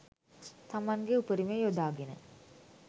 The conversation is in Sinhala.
තමන්ගේ උපරිමය යොදාගෙන